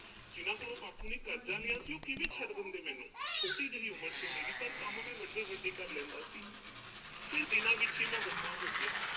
ਜਿਨ੍ਹਾਂ ਕੋੋਲੋਂ ਬਾਪੂ ਨੇ ਕਰਜ਼ਾ ਲਿਆ ਸੀ, ਉਹ ਕਿਵੇਂ ਛੱਡ ਦਿੰਦੇ ਮੈਨੂੰ? ਛੋਟੀ ਜਿਹੀ ਉਮਰ ਸੀ, ਪਰ ਕੰਮ ਮੈਂ ਵੱਡੇ-ਵੱਡੇ ਕਰ ਲੈਂਦਾ ਸੀ। ਫਿਰ ਦਿਨਾਂ ਵਿੱਚ ਹੀ ਮੈਂ ਵੱਡਾ ਹੋ ਗਿਆ।